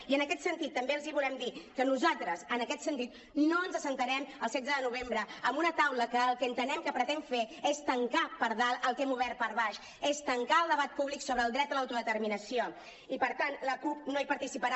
i en aquest sentit també els volem dir que nosaltres en aquest sentit no ens asseurem el setze de novembre en una taula que el que entenem que pretén fer és tancar per dalt el que hem obert per baix és tancar el debat públic sobre el dret a l’autodeterminació i per tant la cup no hi participarà